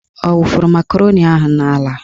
Ọ wufuru makaroni ahụ n'ala?